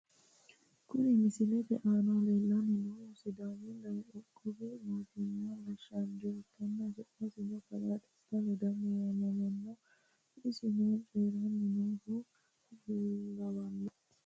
Kuni misilete aana lellanni noohu sidaamu dagoomu qoqqowi mootimma gashshaancho ikkanna su'masino kalaa desta ledamo yaamamanno isino coyiiranni nooha lawanno.